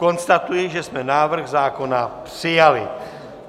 Konstatuji, že jsme návrh zákona přijali.